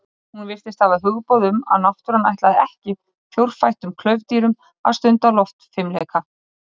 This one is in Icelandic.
Hún virtist hafa hugboð um að náttúran ætlaði ekki fjórfættum klaufdýrum að stunda loftfimleika.